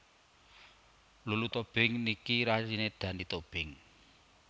Lulu Tobing niki rayine Dani Tobing